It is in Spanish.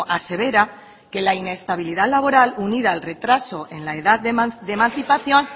asevera que la inestabilidad laboral unida al retraso en la edad de emancipación